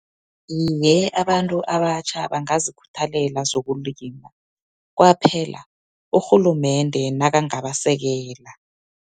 Iye, abantu abatjha bangazikhuthalela zokulima. Kwaphela, urhulumende nakangabasekela.